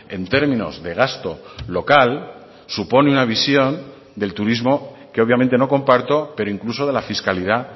en términos de gasto local supone una visión del turismo que obviamente no comparto pero incluso de la fiscalidad